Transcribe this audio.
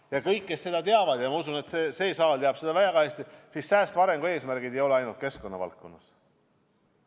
Ja kõik kindlasti teavad – ma usun, et see saal teab seda väga hästi –, et säästva arengu eesmärgid ei ole seatud ainult keskkonna valdkonnas.